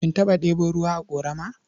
Kin taɓa ɗebo ruwa a ƙorama?